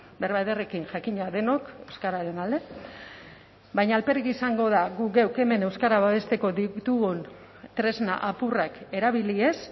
berba ederrekin jakina denok euskararen alde baina alferrik izango da guk geuk hemen euskara babesteko ditugun tresna apurrak erabili ez